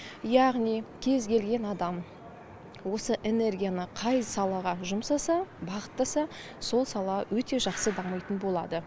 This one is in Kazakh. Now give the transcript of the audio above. яғни кез келген адам осы энергияны қай салаға жұмсаса бағыттаса сол сала өте жақсы дамитын болады